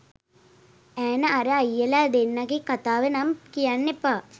ඈන අර අයියලා දෙන්නගෙ කතාව නම් කියන්න එපා